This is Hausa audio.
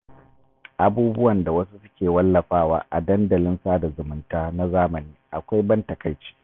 Abubuwan da wasu suke wallafawa a dandalin sada zumunta na zamani akwai ban takaici.